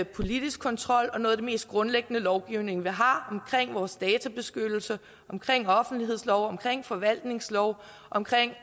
politisk kontrol og noget af den mest grundlæggende lovgivning vi har omkring vores databeskyttelse omkring offentlighedsloven omkring forvaltningsloven omkring